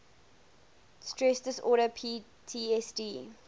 stress disorder ptsd